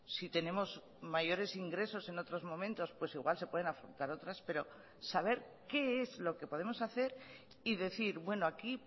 si tenemos mayores ingresos en otros momentos pues igual se pueden afrontar otras pero saber qué es lo que podemos hacer y decir bueno aquí